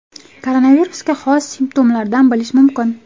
Koronavirusga xos simptomlardan bilish mumkin.